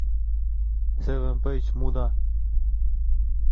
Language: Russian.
севен пейдж муда